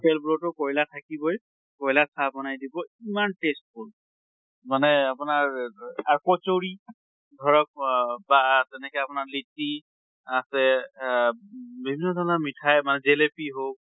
hotel বিলাকতো কয়লা থাকিবই, কয়্লাত চাহ বনাই দিব ইমান tasteful মানে আপোনাৰ আৰু কচৰি ধৰক অহ বা তেনেকে আপোনাৰ লিটি আছে অহ বিভিন্ন ধৰণৰ মিঠাই, জেলেপি হওঁক